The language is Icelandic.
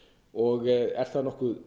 og er það nokkuð